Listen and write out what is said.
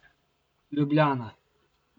Ljubljana.